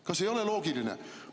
Kas ei ole loogiline?